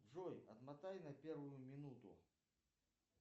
джой отмотай на первую минуту